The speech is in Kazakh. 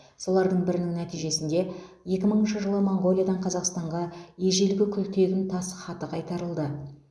солардың бірінің нәтижесінде екі мыңыншы жылы монғолиядан қазақстанға ежелгі күлтегін тас хаты кайтарылды